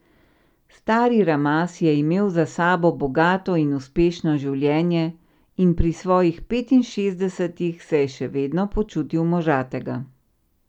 Stari Ramaz je imel za sabo bogato in uspešno življenje in pri svojih petinšestdesetih se je še vedno počutil možatega.